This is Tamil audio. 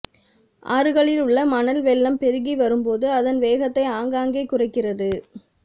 ஆறுகளில் உள்ள மணல் வெள்ளம் பெருகி வரும்போது அதன் வேகத்தை ஆங்காங்கே குறைக்கிறது